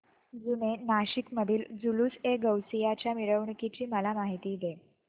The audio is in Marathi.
जुने नाशिक मधील जुलूसएगौसिया च्या मिरवणूकीची मला माहिती दे